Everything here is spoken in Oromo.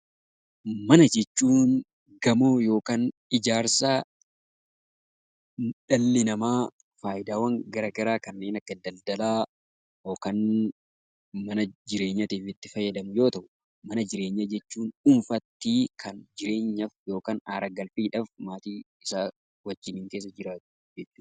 Mana jechuun gamoo yookaan ijaarsa dhalli namaa faayidaawwan gara garaa kanneen akka daldalaa, yookaan mana jireenyaatiif itti fayyadamu yoo ta'u; Mana jireenyaa jechuun dhuunfaatti kan jireenyaaf yookaan aara galfii dhaaf maatii isaa wajjin keessa jiraatu jechuu dha.